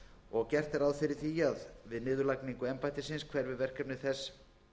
og gert er ráð fyrir því að við niðurlagningu embættisins hverfi verkefni þess